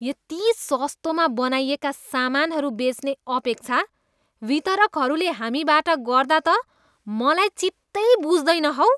यति सस्तोमा बनाइएका सामानहरू बेच्ने अपेक्षा वितरकहरूले हामीबाट गर्दा त मलाई चित्तै बुझ्दैन हौ।